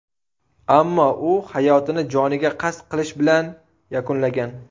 Ammo u hayotini joniga qasd qilish bilan yakunlagan.